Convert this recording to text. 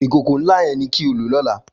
Ikókó n lá yèn ni ki ó ló lòlá